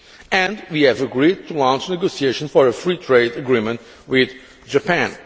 and we have agreed to launch negotiations for a free trade agreement with Japan.